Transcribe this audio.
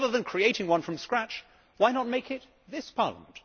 But rather than creating one from scratch, why not make it this Parliament?